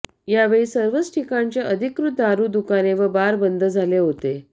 यावेळी सर्वच ठिकाणचे अधिकृत दारु दुकाने व बार बंद झाले होते